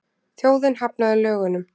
Þjóðin hafnaði lögunum